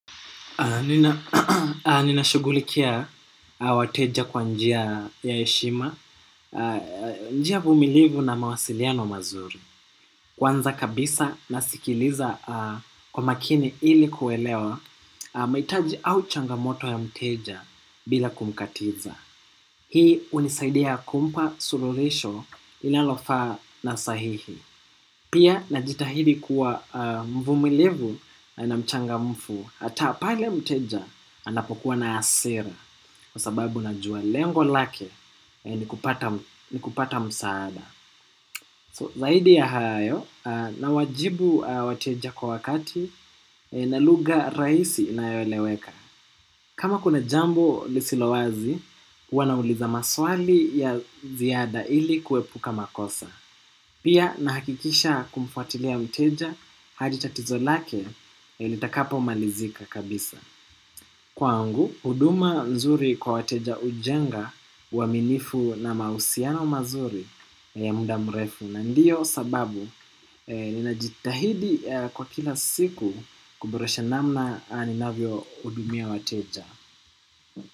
Nina shugulikia wateja kwa njia ya eshima. Njia vumilivu na mawasiliano mazuri. Kwanza kabisa nasikiliza kwa makini ili kuelewa maitaji au changamoto ya mteja bila kumkatiza. Hii unisaidia kumpa sulurisho inalofaa na sahihi. Pia najitahidi kuwa mvumilivu na mchangamfu. Hata pale mteja anapokuwa na hasira kwa sababu najua lengo lake ni kupata msaada. So zaidi ya hayo nawajibu wateja kwa wakati na lugha raisi inayoeleweka. Kama kuna jambo lisilo wazi, wanauliza maswali ya ziada ili kuepuka makosa. Pia nahakikisha kumfuatilia mteja hadi tatizo lake litakapobmalizika kabisa. Kwangu, huduma mzuri kwa wateja ujenga uaminifu na mausiano mazuri na ya muda mrefu na ndiyo sababu ninajitahidi kwa kila siku kuboresha namna ninavyo hudumia wateja.